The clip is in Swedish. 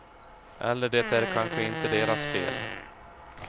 Eller det är kanske inte deras fel.